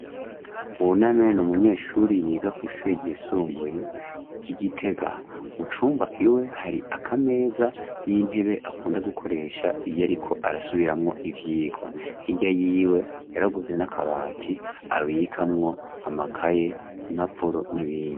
Buname n 'umunyeshuri yiga kw'ishure ryisumbuye ry'i gitega mu cumba iwe hari akameza n'intebe akunda gukoresha iyo ariko arasubiramwo ivyigwa hirya yiwe yaraguze n'akabati abikamwo amakaye , impapuro n'ibindi.